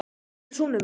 Hvar er sonur minn?